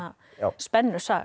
spennusaga